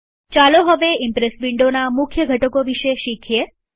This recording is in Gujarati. ચાલો હવે ઈમ્પ્રેસ વિન્ડોના મુખ્ય ઘટકો વિશે શીખીએ